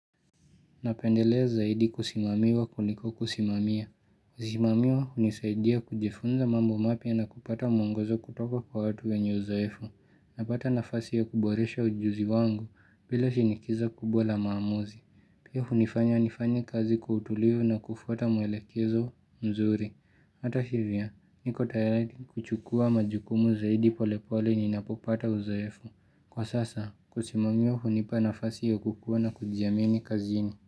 Napendelea zaidi kusimamiwa kuliko kusimamia. Kusimamiwa hunisaidia kujifunza mambo mapya na kupata mwongozo kutoka kwa watu wenye uzoefu. Napata nafasi ya kuboresha ujuzi wangu bila shinikizo kubwa la maamuzi. Pia hunifanya nifanye kazi kwa utulivu na kufuata muelekezo mzuri. Hata hivyo, niko tayara kuchukua majukumu zaidi polepole ninapopata uzoefu. Kwa sasa, kusimamiwa hunipa nafasi ya kukua na kujiamini kazini.